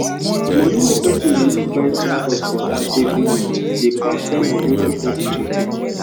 moni wey persin dey use buy foodstuff for house everi month dey pass ten of wetin persin dey earn